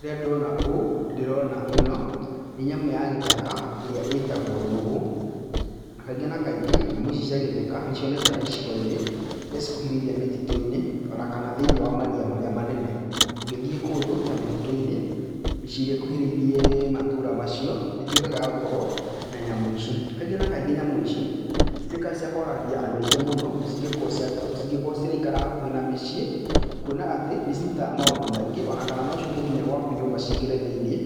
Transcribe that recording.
Rĩrĩa ndona ũũ nĩndĩrona ĩno nĩ nyamũ ya gĩthaka ĩrĩa ĩtagwo ĩtagwo nũgũ, na kaingĩ na kaingĩ, nyamũ ici cia gĩtheka nĩcionekaga icigo-inĩ iria cikuhĩrĩirie mĩtitũ-inĩ ona kana thĩinĩ wa maria marĩa manene. Ũngĩthiĩ kũndũ ta mĩtitũ-inĩ, mĩciĩ ĩrĩa ĩkuhĩrĩirie matũra macio nĩitwĩkaga ya gũkorwo na nyamũ ici. Kaingĩ na kaingĩ nyamũ ici nĩcitwĩkaga cia kwagagia andũ aingĩ mũno cingĩko cia cingĩkorwo ciraikara hakũhĩ na mĩciĩ, kwona atĩ nicirutaga maũndũ maingĩ ona kana nociũke nginya gwaku nyũmba ciingĩre thĩinĩ